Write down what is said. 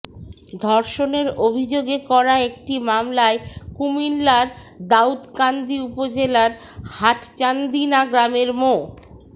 ধর্ষণের অভিযোগে করা একটি মামলায় কুমিল্লার দাউদকান্দি উপজেলার হাটচান্দিনা গ্রামের মো